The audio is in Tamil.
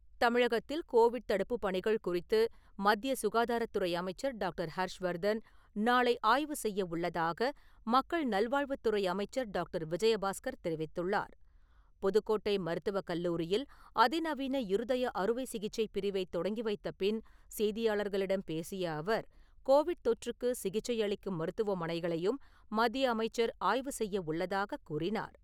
தமிழகத்தில் கோவிட் தடுப்புப் பணிகள் குறித்து மத்திய சுகாதாரத்துறை அமைச்சர் டாக்டர். ஹர்ஷ்வர்தன் நாளை ஆய்வு செய்ய உள்ளதாக மக்கள் நல்வாழ்வுத் துறை அமைச்சர் டாக்டர். விஜயபாஸ்கர் தெரிவித்துள்ளார். புதுக்கோட்டை மருத்துவக் கல்லூரியில் அதிநவீன இருதய அறுவை சிகிச்சை பிரிவை தொடங்கி வைத்த பின் செய்தியாளர்களிடம் பேசிய அவர், கோவிட் தொற்றுக்கு சிகிச்சை அளிக்கும் மருத்துவமனைகளையும் மத்திய அமைச்சர் ஆய்வு செய்ய உள்ளதாகக் கூறினார்.